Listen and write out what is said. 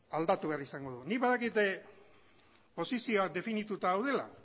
aldatu behar izango da nik badakit posizioak definituta daudela